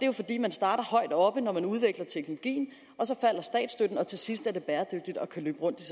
jo fordi man starter højt oppe når man udvikler teknologien og så falder statsstøtten og til sidst er det bæredygtigt og kan løbe rundt det